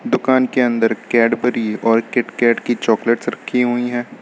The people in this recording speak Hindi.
दुकान के अंदर कैडबरी और किटकैट की चॉकलेट्स रखी हुई हैं।